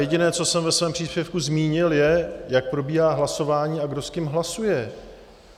Jediné, co jsem ve svém příspěvku zmínil, je, jak probíhá hlasování a kdo s kým hlasuje.